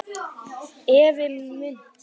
Ævi munks